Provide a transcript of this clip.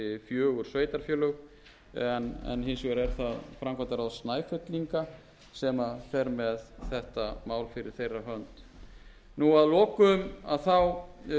fjögur sveitarfélög en hins vegar er það framkvæmdaráð snæfellinga sem fer með þetta mál fyrir þeirra hönd að lokum þá